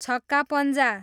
छक्का पञ्जा